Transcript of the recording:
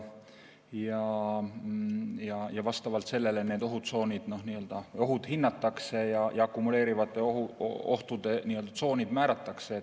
Vastavalt sellele need ohutsoonid, ohud hinnatakse ja ka akumuleeruvate ohtude tsoonid määratakse.